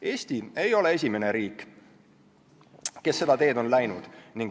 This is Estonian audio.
Eesti ei ole esimene riik, kes on seda teed läinud.